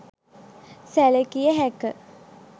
සැළකිය හැක.